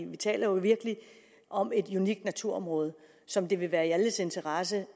vi taler jo virkelig om et unikt naturområde som det vil være i alles interesse